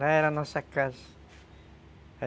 Lá era a nossa casa.